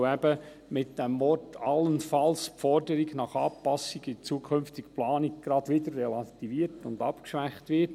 weil eben mit dem Wort «allenfalls» die Forderung nach Anpassung der zukünftigen Planung gleich wieder relativiert und abgeschwächt wird.